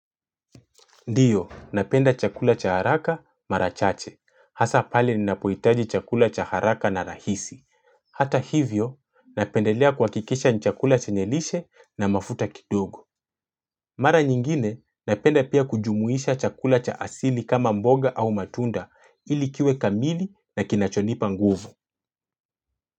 Ndio, napenda chakula cha haraka marachache. Hasa pale ninapoitaji chakula cha haraka na rahisi. Hata hivyo, napendelea kuakikisha nchakula chenyelishe na mafuta kidogo. Mara nyingine, napenda pia kujumuisha chakula cha asili kama mboga au matunda ilikiwe kamili na kinachonipa nguvu.